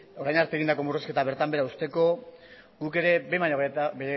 orain arte egindako murrizketa bertan behera uzteko guk ere behin baino